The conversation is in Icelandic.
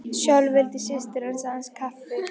Sjálf vildi systir hans aðeins kaffi.